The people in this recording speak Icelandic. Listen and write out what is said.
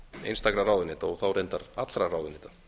einstakra ráðuneyta og þá reyndar allra ráðuneyta